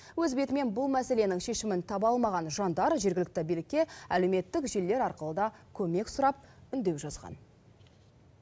өз бетімен бұл мәселенің шешімін таба алмаған жандар жергілікті билікке әлеуметтік желілер арқылы да көмек сұрап үндеу жазған